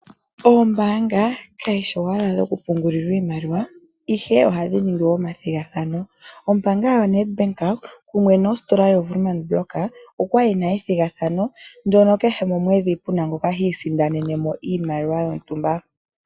Oombaanga kadhi shi owala dhokupungulwa iimaliwa, ihe ohadhi ningi omathigathano. Ombaanga yaNedbank kumwe nostola yoWoermann Brock okwa li ku na ethigathana ndyono kehe momwedhi ku na ngoka hi isindanene iimaliwa yontumba.